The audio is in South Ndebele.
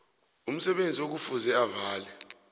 umsebenzi ekufuze avale